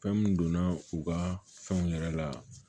Fɛn mun donna u ka fɛnw yɛrɛ la